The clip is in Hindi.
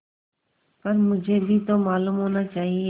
पर मुझे भी तो मालूम होना चाहिए